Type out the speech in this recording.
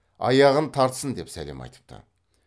аяғын тартсын деп сәлем айтыпты